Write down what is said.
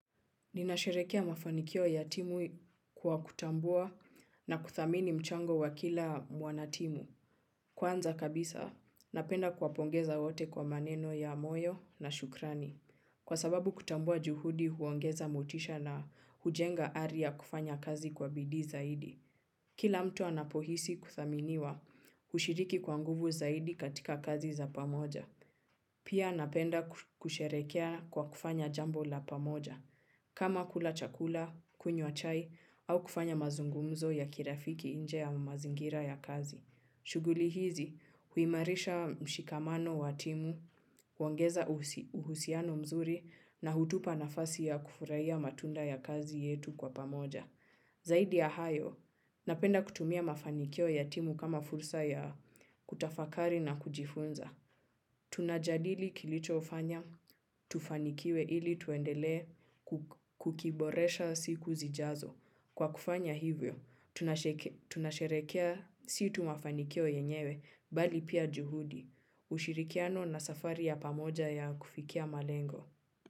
Ninasherehekea mafanikio ya timu kwa kutambua na kuthamini mchango wa kila mwanatimu. Kwanza kabisa, napenda kuwapongeza wote kwa maneno ya moyo na shukrani. Kwa sababu kutambua juhudi huongeza motisha na hujenga ari ya kufanya kazi kwa bidii zaidi. Kila mtu anapohisi kuthaminiwa hushiriki kwa nguvu zaidi katika kazi za pamoja. Pia napenda kusherehekea kwa kufanya jambo la pamoja. Kama kula chakula, kunywa chai au kufanya mazungumzo ya kirafiki nje ya mazingira ya kazi. Shughuli hizi huimarisha mshikamano wa timu, huongeza uhusiano mzuri na hutupa nafasi ya kufurahia matunda ya kazi yetu kwa pamoja. Zaidi ya hayo, napenda kutumia mafanikio ya timu kama fursa ya kutafakari na kujifunza. Tunajadili kilichofanya, tufanikiwe ili tuendelee kukiboresha siku zijazo. Kwa kufanya hivyo, tunasherehekea si tu mafanikio yenyewe, bali pia juhudi, ushirikiano na safari ya pamoja ya kufikia malengo.